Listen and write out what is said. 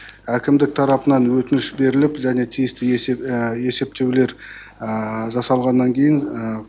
әкімдік тарапынан өтініш беріліп және тиісті есептеулер жасалғаннан кейін